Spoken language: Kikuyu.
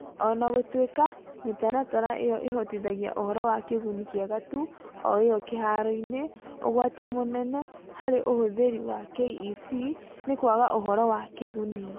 O na gũtuĩka mĩtaratara ĩyo ĩhotithagia ũhoro wa kĩguni kĩega tu ũiywo kĩharoinĩ, ũgwati ũmwe mũnene harĩ ũhũthĩri wa KEC nĩ kwaga ũhoro wa kĩguni.